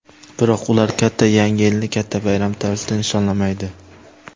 Biroq ular katta yangi yilni katta bayram tarzida nishonlamaydi.